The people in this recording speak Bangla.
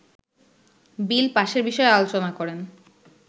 বিল পাশের বিষয়ে আলোচনা করেন